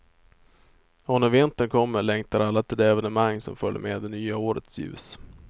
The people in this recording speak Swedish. Och när vintern kommer längtar alla till de evenemang som följer med det nya årets ljus.